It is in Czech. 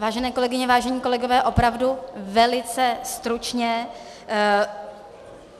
Vážené kolegyně, vážení kolegové, opravdu velice stručně.